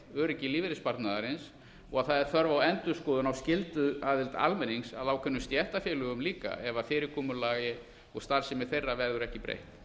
öryggi lífeyrissparnaðarins og að það er þörf á endurskoðun skylduaðild almennings að ákveðnum stéttarfélögum líka ef fyrirkomulagi og starfsemi þeirra verður ekki breytt